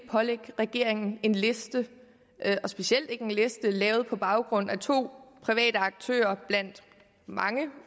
pålægge regeringen at en liste specielt ikke en liste lavet på baggrund af to private aktører blandt mange